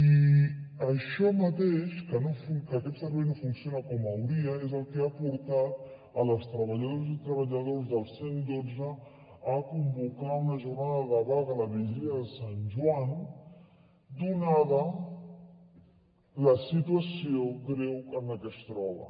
i això mateix que aquest servei no funciona com caldria és el que ha portat les treballadores i treballadors del cent i dotze a convocar una jornada de vaga la vigília de sant joan donada la situació greu en la que es troben